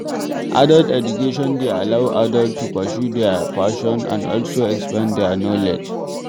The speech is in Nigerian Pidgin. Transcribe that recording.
Adult education de allow adult to pursue their passion and also expand their knowledge